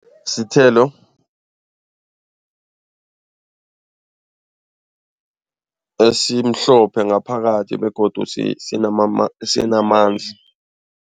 Sithelo esimhlophe ngaphakathi begodu sinamanzi.